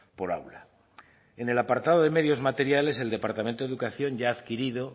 por aula en el apartado de medios materiales el departamento educación ya ha adquirido